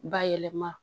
Bayɛlɛma